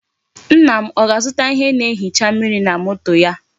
Nna m o ga-azuta ihe na-ehicha mmiri na moto ya.